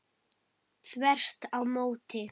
Þvert á móti!